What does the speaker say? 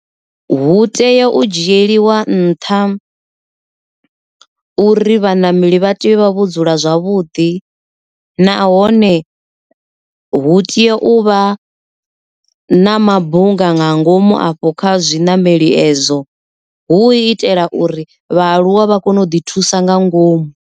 Hu tea u dzhieliwa nṱha uri vhanameli vha tea u vha vho dzula zwavhuḓi, nahone hu teya uvha na mabunga nga ngomu afho kha zwiṋameli ezwo hu itela uri vhaaluwa vha kone u ḓi thusa nga ngomu.